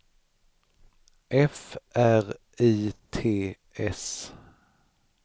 F R I T S